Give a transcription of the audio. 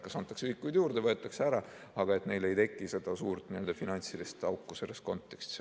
Kas antakse ühikuid juurde või võetakse ära, aga neile ei teki seda suurt finantsilist auku selles kontekstis.